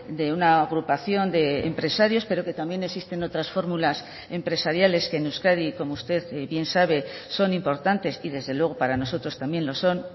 de una agrupación de empresarios pero que también existen otras fórmulas empresariales que en euskadi como usted bien sabe son importantes y desde luego para nosotros también lo son